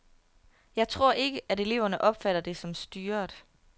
Jeg tror ikke, at eleverne opfatter det som styret.